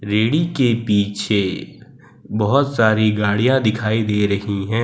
रेड़ी के पीछे बहोत सारी गाड़ियां दिखाई दे रही हैं।